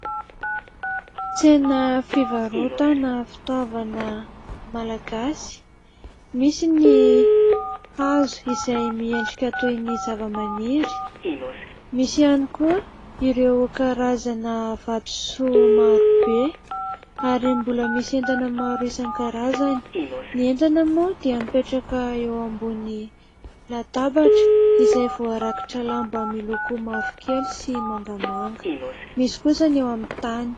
Tsena fivarotana fitaovana malagasy, misy ny hazo izay miendrika toy ny zava-maniry, misy ihany koa ireo karazana vatosoa maro be ary mbola misy entana maro isan-karazany, ny entana moa dia mipetraka eo ambony latabatra izay voarakotra lamba miloko mavokely sy mangamanga, misy kosa ny eo amin'ny tany.